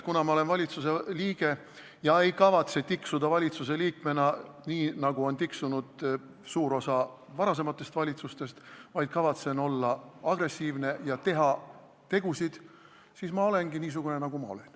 Kuna ma olen valitsusliige ega kavatse tiksuda valitsusliikmena nii, nagu on tiksunud suur osa varasematest valitsustest, vaid kavatsen olla agressiivne ja teha tegusid, siis ma olengi niisugune, nagu ma olen.